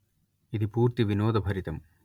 ఇది పూర్తి వినోదభరితం